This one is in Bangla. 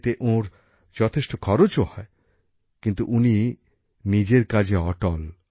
এতে ওঁর যথেষ্ট খরচও হয় কিন্তু উনি নিজের কাজে অটল